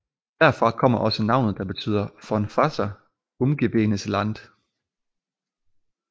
Derfra kommer også navnet der betyder von Wasser umgebenes Land